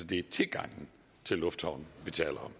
det er tilgangen til lufthavnen vi taler